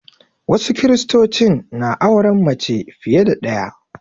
Wasu Kiristocin na auren mace fiye da ɗaya